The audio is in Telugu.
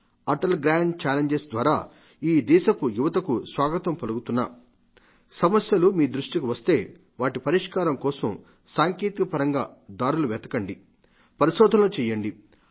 అటల్ గ్రాండ్ ఛాలెంజెస్ ద్వారా ఈ దేశపు యువతకు స్వాగతం పలుకుతున్నా సమస్యలు మీ దృష్టికి వస్తే వాటి పరిష్కారం కోసం సాంకేతికపరంగా దారులు వెతకండి పరిషోధనలు చేయండి